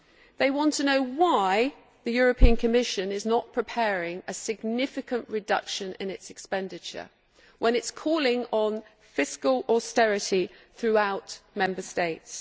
They want to know why the Commission is not preparing a significant reduction in its expenditure when it is calling for fiscal austerity throughout Member States.